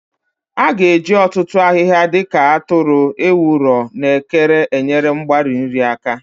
A ga-eji ọtụtụ ahịhịa dị ka atụrụ, ewuro, na ekere enyere mgbari nri aka.